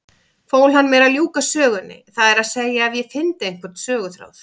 Fól hann mér að ljúka sögunni, það er að segja ef ég fyndi einhvern söguþráð.